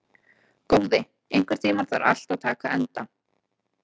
Góði, einhvern tímann þarf allt að taka enda.